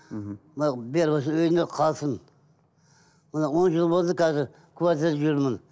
мхм мынау үйінде қалсын мына он жыл болды қазір квартирада жүрмін